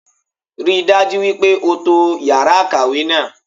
Rí i dájú wípé o to yàrá ìkàwé náà